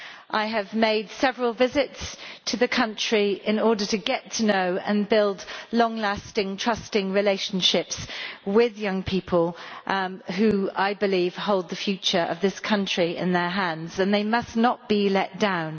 I have made several visits to the country in order to get to know and build long lasting trusting relationships with young people, who I believe hold the future of this country in their hands they must not be let down.